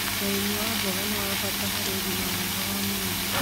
ũrĩmi wa mboga nĩ wa bata harĩ ũgima mwega wa mwĩrĩ.